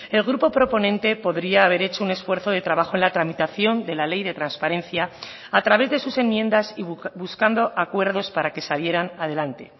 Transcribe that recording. el grupo proponente podría haber hecho un esfuerzo de trabajo en la tramitación de la ley de transparencia a través de sus enmiendas y buscando acuerdos para que salieran adelante